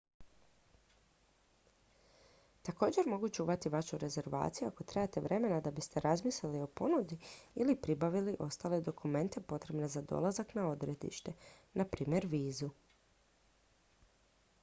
također mogu čuvati vašu rezervaciju ako trebate vremena da biste razmislili o ponudi ili pribavili ostale dokumente potrebne za dolazak na odredište npr. vizu